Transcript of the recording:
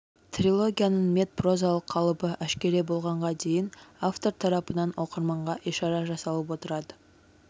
трилогияның метпрозалық қалыбы әшкере болғанға дейін автор тарапынан оқырманға ишара жасалып отырады